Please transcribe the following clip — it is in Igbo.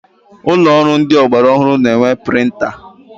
Ụlọ ọrụ ndị ọgbara ọhụrụ na-enwe printa.